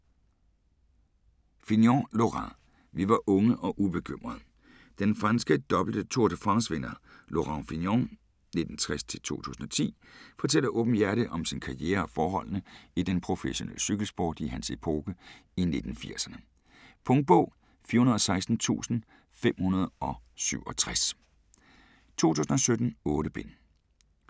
Fignon, Laurent: Vi var unge og ubekymrede Den franske dobbelte Tour de France vinder Laurent Fignon (1960-2010) fortæller åbenhjertigt om sin karriere og forholdene i den professionelle cykelsport i hans epoke i 1980'erne. Punktbog 416567 2017. 8 bind.